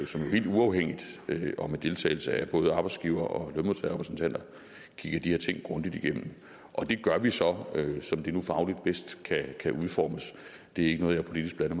som helt uafhængigt og med deltagelse af både arbejdsgiver og lønmodtagerrepræsentanter kigger de her ting grundigt igennem det gør vi så som det nu fagligt bedst kan udformes det er ikke noget jeg politisk blander